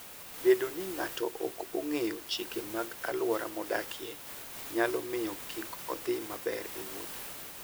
Bedo ni ng'ato ok ong'eyo chike mag alwora modakie, nyalo miyo kik odhi maber e wuoth.